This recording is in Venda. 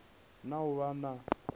fulufhedzea na u vha na